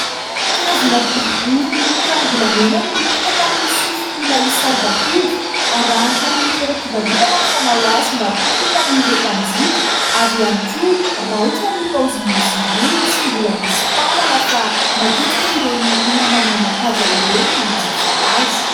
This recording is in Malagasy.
Kavina boribory miloko ranombolamena no mipetaka amin'ny sofin'ny ilay saribakoly. Aranty amin'ny toeram-pivarotana ny fanao azy mba ho hitan' ireo mpanjifa. Ary ihany koa raitra ny paozin'izy io, tsy mbola misy mpanana fa matetika ireny olona manan-kaja ireny no manjifa azy.